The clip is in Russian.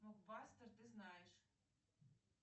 блокбастер ты знаешь